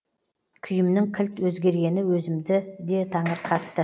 күйімнің кілт өзгергені өзімді де таңырқатты